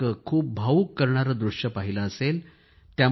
वर एक खूप भावुक करणारे दृश्य पाहिले असेल